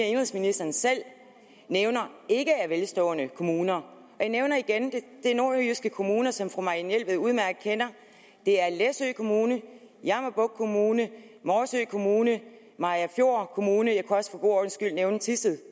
indenrigsministeren selv nævner ikke er velstående kommuner jeg nævner igen at det er nordjyske kommuner som fru marianne jelved udmærket kender det er læsø kommune jammerbugt kommune morsø kommune mariagerfjord kommune og jeg kunne også for god ordens skyld nævne thisted